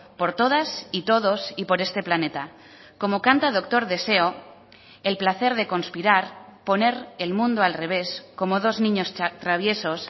por todas y todos y por este planeta como canta doctor deseo el placer de conspirar poner el mundo al revés como dos niños traviesos